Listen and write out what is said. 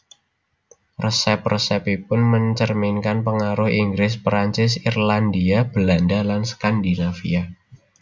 Resep resepipun mencerminkan pengaruh Inggris Perancis Irlandia Belanda lan Skandinavia